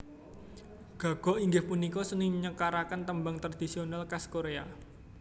Gagok inggih punika seni nyekaraken tembang tradisional khas Korea